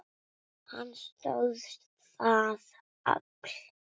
Hann stóðst það afl.